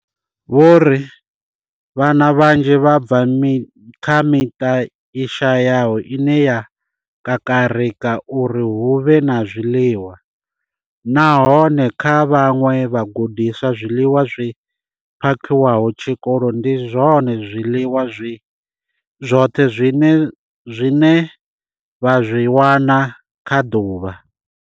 Vho ri vhana vhanzhi vha bva kha miṱa i shayaho ine ya kakarika uri hu vhe na zwiḽiwa nahone kha vhaṅwe vhagudiswa zwiḽiwa zwi phakhiwaho tshikoloni ndi zwone zwiḽiwa zwi zwoṱhe zwine vha zwi wana kha ḓuvha.